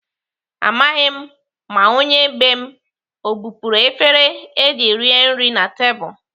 Amaghị m ma onye bee m ọ bupuru efere eji rie nri na tebụl.